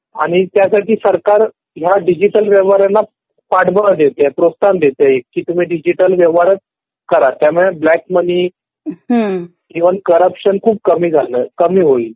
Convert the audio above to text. आणि त्यासाठी सरकार हया डिजिटल व्यवहाराला पाठगोळा देते, प्रोत्साहन देते कि डिजिटल व्यवहाराच करा. त्यामुळे ब्लॅक मनी, इवन करप्शन खूप कमी झालय .कमी होईल.